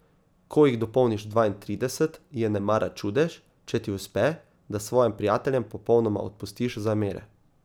Ko jih dopolniš dvaintrideset, je nemara čudež, če ti uspe, da svojim prijateljem popolnoma odpustiš zamere.